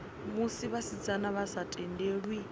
musi vhasidzana vha sa tendelwi